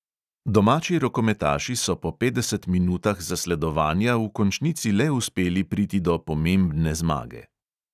Domači rokometaši so po petdeset minutah zasledovanja v končnici le uspeli priti do pomembne zmage.